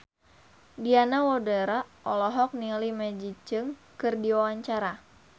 Diana Widoera olohok ningali Maggie Cheung keur diwawancara